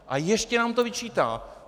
A ještě nám to vyčítá!